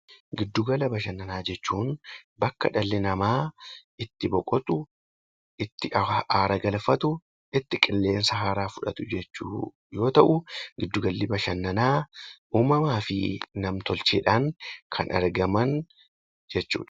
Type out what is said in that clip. Giddu gala bashannanaa jechuun bakka dhalli namaa itti boqotu, itti aara galfatu, itti qilleensa haaraa fudhatu jechuu yoo ta'u, giddu galli bashannanaa uumamaa fi nam- tolcheedhaan kan argaman jechuudha.